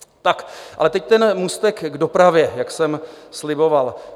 Tak, ale teď ten můstek k dopravě, jak jsem sliboval.